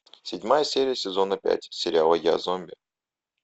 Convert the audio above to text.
седьмая серия сезона пять сериала я зомби